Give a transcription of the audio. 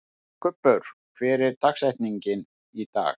Kubbur, hver er dagsetningin í dag?